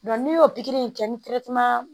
n'i y'o pikiri in kɛ ni